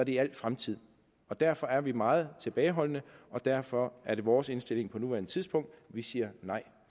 i al fremtid og derfor er vi meget tilbageholdende og derfor er det vores indstilling på nuværende tidspunkt at vi siger nej